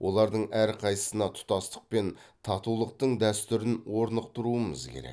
олардың әрқайсысына тұтастық пен татулықтың дәстүрін орнықтыруымыз керек